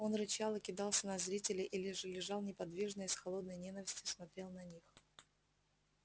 он рычал и кидался на зрителей или же лежал неподвижно и с холодной ненавистью смотрел на них